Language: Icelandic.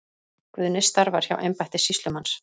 Guðni starfar hjá embætti sýslumanns.